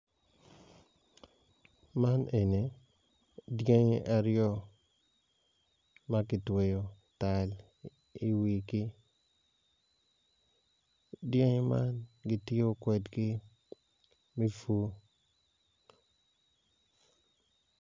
Man eni dyangi aryo ma kitweyo tal i wigi dyangi man kitiyo kwedgi me pur.